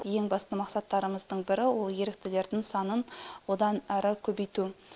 ең басты мақсаттарымыздың бірі ол еріктілердің санын одан әрі көбейту